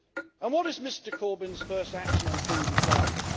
And what is Mr Corbyn's first action on food and farming?